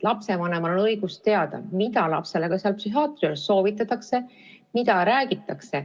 Lapsevanemal on õigus teada, mida lapsele psühhiaatri juures soovitatakse ja mida räägitakse.